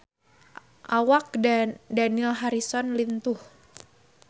Awak Dani Harrison lintuh